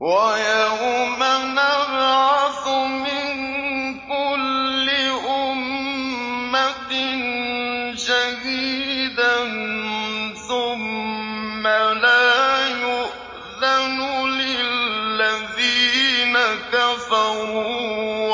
وَيَوْمَ نَبْعَثُ مِن كُلِّ أُمَّةٍ شَهِيدًا ثُمَّ لَا يُؤْذَنُ لِلَّذِينَ كَفَرُوا